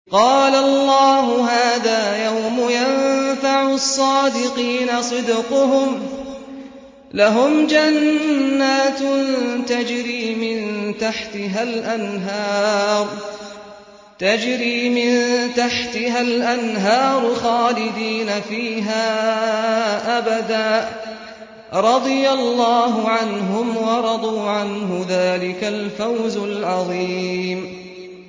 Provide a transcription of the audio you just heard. قَالَ اللَّهُ هَٰذَا يَوْمُ يَنفَعُ الصَّادِقِينَ صِدْقُهُمْ ۚ لَهُمْ جَنَّاتٌ تَجْرِي مِن تَحْتِهَا الْأَنْهَارُ خَالِدِينَ فِيهَا أَبَدًا ۚ رَّضِيَ اللَّهُ عَنْهُمْ وَرَضُوا عَنْهُ ۚ ذَٰلِكَ الْفَوْزُ الْعَظِيمُ